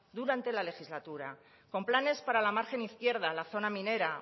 durante la legislatura con planes para la margen izquierda la zona minera